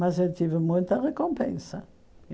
Mas eu tive muita recompensa.